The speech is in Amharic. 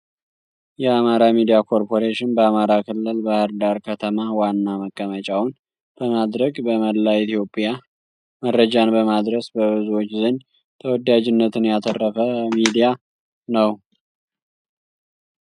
የአማራ ሚዲያ ኮርፖሬሽን በአማራ ክልል ባህርዳር ከተማ ዋና መቀመጫውን በማድረግ በመላ ኢትዮጵያ መረጃን በማድረስ በብዙዎች ዘንድ ተወዳጅነትን ያተረፈ ሚዲያ ነው።